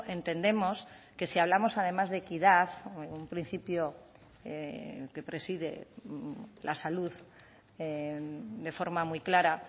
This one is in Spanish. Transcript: entendemos que si hablamos además de equidad un principio que preside la salud de forma muy clara